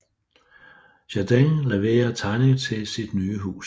Jardin levere tegning til sit nye hus